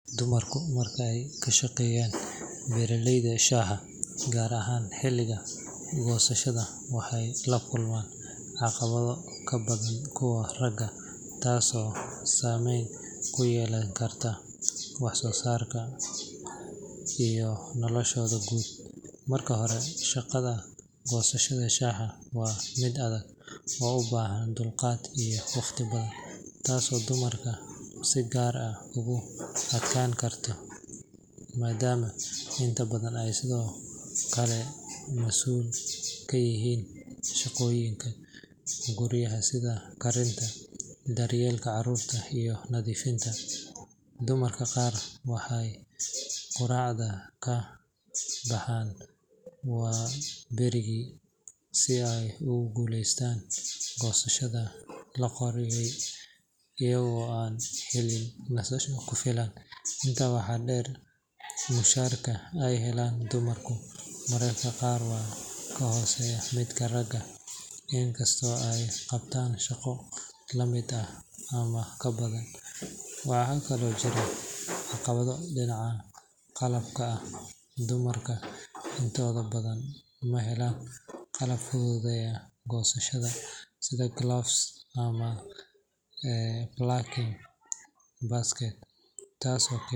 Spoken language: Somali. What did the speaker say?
Dumarku marka ay shaqeeyaan beeralayda shaaha, gaar ahaan xilliga goosashada, waxay la kulmaan caqabado ka badan kuwa ragga, taasoo saameyn ku yeelan karta wax soo saarkooda iyo noloshooda guud. Marka hore, shaqada goosashada shaaha waa mid adag oo u baahan dulqaad iyo waqti badan, taasoo dumarka si gaar ah ugu adkaan karta maadaama inta badan ay sidoo kale masuul ka yihiin shaqooyinka guryaha sida karinta, daryeelka carruurta iyo nadiifinta. Dumarka qaar waxay quraacda ka baxaan waaberigii si ay ugu guuleystaan goosashada la qorsheeyay, iyagoo aan helin nasasho ku filan. Intaa waxaa dheer, mushaarka ay helaan dumarku mararka qaar waa ka hooseeyaa midka ragga, in kastoo ay qabtaan shaqo la mid ah ama ka badan. Waxaa kaloo jiro caqabado dhinaca qalabka ah, dumarka intooda badan ma helaan qalab fududeeya goosashada, sida gloves ama plucking baskets, taasoo..